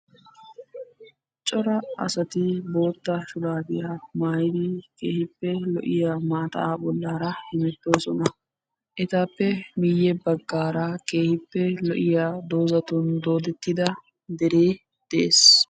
Cora asatti bootta shurabiya maayiddi maattaa bollaa hemettosonna. Etta matan lo'iya deree de'ees.